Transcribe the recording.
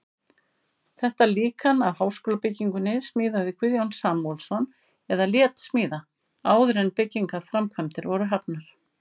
Þetta líkan af háskólabyggingunni smíðaði Guðjón Samúelsson eða lét smíða, áður en byggingarframkvæmdir voru hafnar.